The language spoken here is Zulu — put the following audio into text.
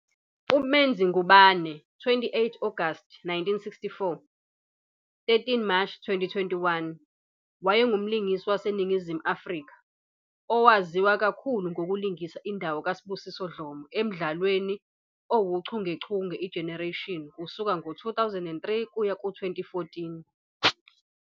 UMenzi Ngubane, 28 Agasti 1964 - 13 Mashi 2021,wayengumlingisi waseNingizimu Afrika, owaziwa kakhulu ngokulingisa indawo kaSibusiso Dlomo emdlalweni owuchungechunge "iGenerations" kusuka ngo-2003 kuya ku-2014.